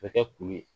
Bɛ kɛ kulu ye